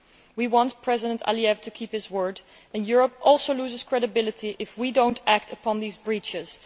We want President Aliyev to keep his word. Europe also loses credibility if we do not act upon these breaches.